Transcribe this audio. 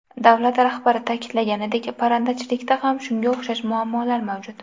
Davlat rahbari ta’kidlaganidek, parrandachilikda ham shunga o‘xshash muammolar mavjud.